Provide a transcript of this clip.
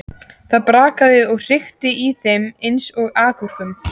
Það brakaði og hrikti í þeim eins og agúrkum.